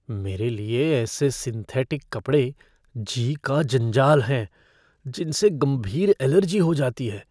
मेरे लिए ऐसे सिंथेटिक कपड़े जी का जंजाल हैं जिनसे गंभीर अलर्जी हो जाती है।